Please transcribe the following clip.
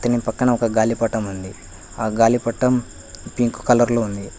అతని పక్కన ఒక్క గాలిపటం ఉంది ఆ గాలిపటం పింక్ కలర్ లో ఉంది.